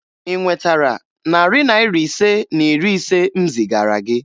Ị nwetara narị Naira ise na iri ise m zigara gị?